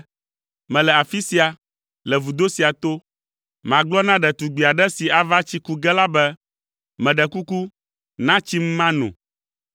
Mele afi sia, le vudo sia to. Magblɔ na ɖetugbi aɖe si ava tsi ku ge la be, “Meɖe kuku, na tsim mano,”